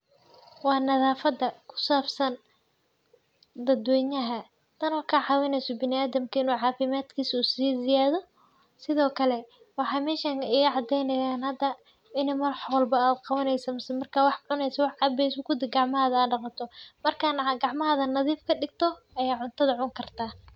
Waa nadhaafada kusaabsan dadweynaha tanoo kacawineyso biniadamka inu caafimadkisu sii ziyaadho. Sidhookale waxa meshan igacadeynayan hada ini wax walbo a qawaneyso mise marki wax cuneyso wax cabeyo kudi gacmahaga aad daqato , marka gacmahaga nadhiif kadigto aya cuntadha cuni karta.